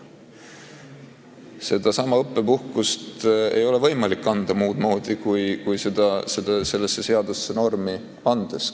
Sedasama õppepuhkust ei ole võimalik anda muud moodi kui selle seadusega normi andes.